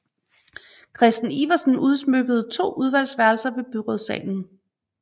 Kræsten Iversen udsmykkede to udvalgsværelser ved byrådssalen